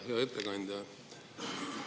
Hea ettekandja!